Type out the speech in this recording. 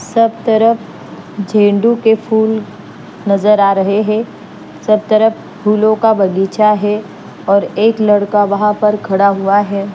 सब तरफ के फूल नजर आ रहे हैं सब तरफ फूलों का बगीचा है और एक लड़का वहां पर खड़ा हुआ है।